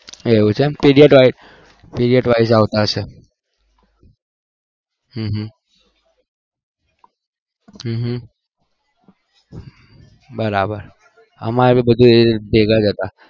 એવું છે એમ પીરીઅડ વાઈસ આવતા હશે હમમ હમમ બરાબર અમારે પણ બધા ભેગા હતા